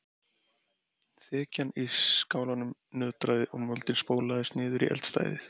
Þekjan í skálanum nötraði og moldin sópaðist niður í eldstæðið.